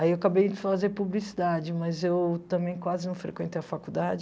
Aí eu acabei de fazer publicidade, mas eu também quase não frequentei a faculdade.